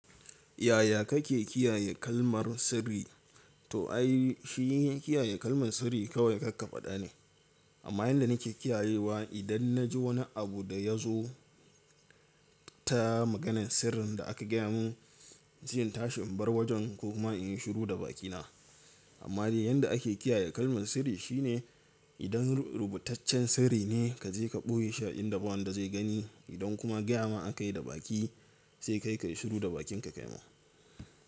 Yaya kake kiyaye kalmar sirri? To ai shi kiyaye kalmar sirri kawai karka fada ne amma yanda nake kiyayewa idan na ji wani abu da ya zo ta maganan sirrin da aka gaya mun zanyi tashin bar wajen ko kuma inyi shiru da bakina amma dai yanda ake kiyaye kalman sirri shine idan rubutaccen sirri ne kaje ka boye sha'inda ba wanda zai gani idan kuma gaya ma aka yi da baki sai kai kayi shiru da bakin ka kaima.